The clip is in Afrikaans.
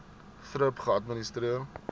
thrip geadministreer